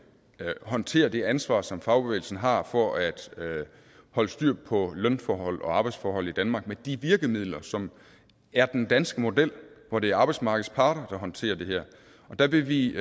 håndterer det ansvar som fagbevægelsen har for at holde styr på lønforhold og arbejdsforhold i danmark med de virkemidler som er den danske model hvor det er arbejdsmarkedets parter der håndterer det her der vil vi